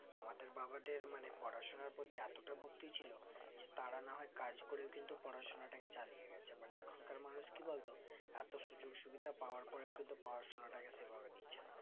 আমাদের বাবাদের মানে পড়াশোনার প্রতি এতটা ভক্তি ছিল তারা না হয় কাজ করে কিন্তুপড়াশোনা তাকে চালিয়ে গেছে but এখন কার মানুষ কি বলতো এতো সুযোক সুবিধা পাওয়ার পরেও কিন্তু পড়াশোনাটাকে সেভাবে নিচে না